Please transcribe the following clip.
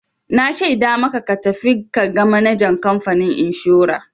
Na shaida maka ka tafi ka ga manajan kamfanin inshora!